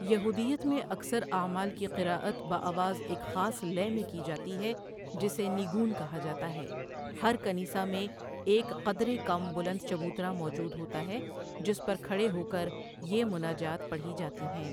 یہودیت میں اکثر اعمال کی قرأت بآواز ایک خاص لے میں کی جاتی ہے جسے نیگون کہا جاتا ہے ہر کنیسہ میں ایک قدرے کم بلند چبوترا موجود ہوتا ہے جس پر کھڑے ہو کر یہ مناجات پڑھی جاتی ہیں۔